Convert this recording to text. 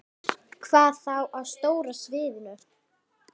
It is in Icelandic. Hvað þá á stóra sviðinu?